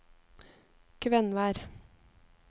Kvenvær